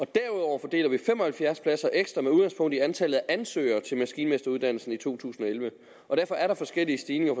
derudover fordeler vi fem og halvfjerds pladser ekstra med udgangspunkt i antallet af ansøgere til maskinmesteruddannelsen i to tusind og elleve og derfor er der forskellige stigninger